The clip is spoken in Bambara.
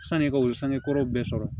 Sani ka o sangekɔrɔw bɛɛ sɔrɔ